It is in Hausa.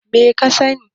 me ka gani